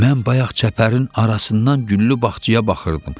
Mən bayaq çəpərin arasından güllü bağçaya baxırdım.